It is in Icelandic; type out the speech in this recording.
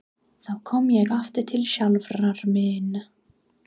Þá kom ég aftur til sjálfrar mín.